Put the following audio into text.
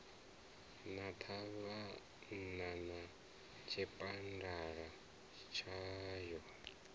na ṱhavhana na tshipambala tshayo